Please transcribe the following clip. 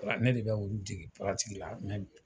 Wa ne de bɛ olu dege la